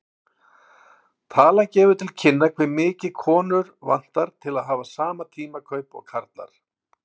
Talan gefur til kynna hve mikið konur vantar til að hafa sama tímakaup og karlar.